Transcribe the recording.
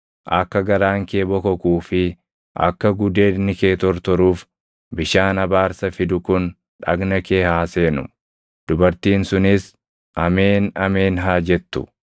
Akka garaan kee bokokuu fi akka gudeedni kee tortoruuf bishaan abaarsa fidu kun dhagna kee haa seenu.” “ ‘Dubartiin sunis, “Ameen, ameen” haa jettu.